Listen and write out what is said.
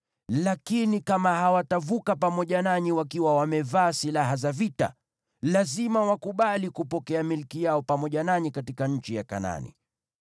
Lakini kama hawatavuka pamoja nanyi wakiwa wamevaa silaha za vita, lazima wakubali kupokea milki yao pamoja nanyi katika nchi ya Kanaani.”